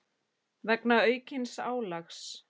vegna aukins álags.